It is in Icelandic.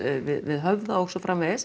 við Höfða og svo framvegis